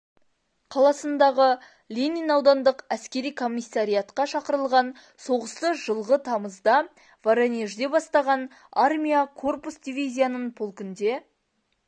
қаласындағы ленин аудандық әскери коммиссариатқа шақырылған соғысты жылғы тамызда воронежде бастаған армия корпус дивизияның полкінде